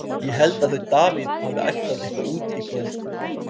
Ég held að þau Davíð hafi ætlað eitthvað út í kvöld.